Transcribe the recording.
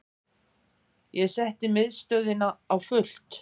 Ég setti miðstöðina á fullt.